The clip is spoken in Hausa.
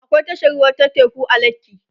akwai tashar ruwa ta teku a lekki